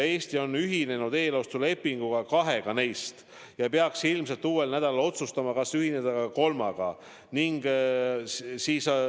Eesti on ühinenud eelostulepinguga kahega neist ja peaks ilmselt uuel nädalal otsustama, kas ühineda ka kolmandaga.